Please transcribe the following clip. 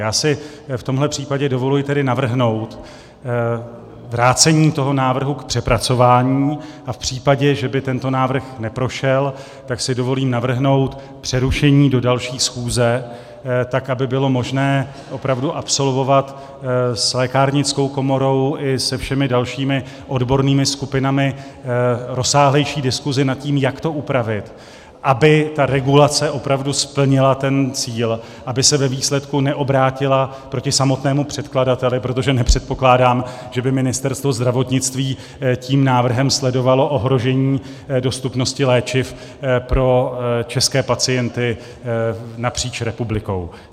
Já si v tomhle případě dovoluji tedy navrhnout vrácení toho návrhu k přepracování a v případě, že by tento návrh neprošel, tak si dovolím navrhnout přerušení do další schůze, tak aby bylo možné opravdu absolvovat s lékárnickou komorou i se všemi dalšími odbornými skupinami rozsáhlejší diskusi nad tím, jak to upravit, aby ta regulace opravdu splnila ten cíl, aby se ve výsledku neobrátila proti samotnému předkladateli, protože nepředpokládám, že by Ministerstvo zdravotnictví tím návrhem sledovalo ohrožení dostupnosti léčiv pro české pacienty napříč republikou.